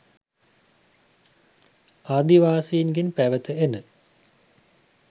ආදිවාසීන්ගෙන් පැවත එන